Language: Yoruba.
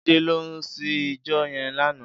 Jide lò sí ijò yèn làná